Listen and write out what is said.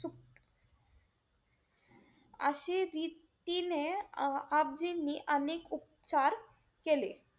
अशी रीतीने आपजींनी अनेक उपचार केले.